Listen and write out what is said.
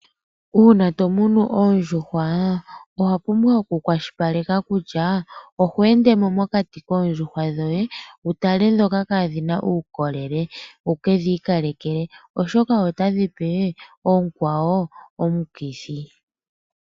Uuna to munu oondjuhwa owa pumbwa oku kwashilipaleka kutya odho ende mo mokati koondjuhwa dhoye wu tale ndhoka kaadhi na uukolele, wukedhi ikalekele oshoka otadhi pe oonkwawo omikithi.